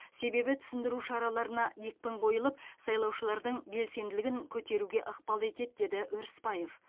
себебі түсіндіру шараларына екпін қойылып сайлаушылардың белсендігін көтеруге ықпал етеді деді өрісбаев